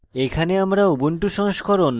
এখানে আমরা